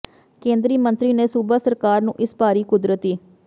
ਕੇਂਦਰੀ ਮੰਤਰੀ ਨੇ ਸੂਬਾ ਸਰਕਾਰ ਨੂੰ ਇਸ ਭਾਰੀ ਕੁਦਰਤੀ